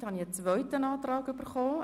Er hat nun das Wort zur Erläuterung.